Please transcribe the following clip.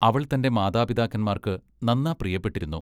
അവൾ തന്റെ മാതാപിതാക്കന്മാർക്ക് നന്നാ പ്രിയപ്പെട്ടിരുന്നു.